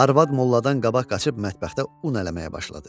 Arvad molladan qabaq qaçıb mətbəxdə un ələməyə başladı.